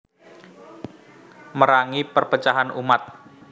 Merangi perpecahan umat